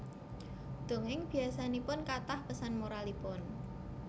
Dongéng biasanipun kathah pesan moralipun